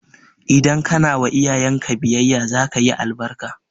Idan kana wa iyayen ka biyayya za ka yi albarka